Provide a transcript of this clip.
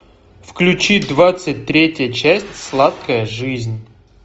включи двадцать третья часть сладкая жизнь